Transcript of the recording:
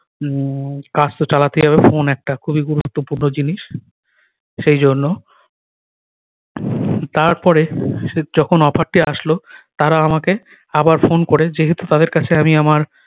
উম কাজ তো চালাতে হবে ফোন একটা খুবই গুরুত্বপূর্ণ জিনিস সেই জন্য তার পরে সে যখন offer টি আসলো তারা আমাকে আবার ফোন করে যেহেতু তাদের কাছে আমি আমার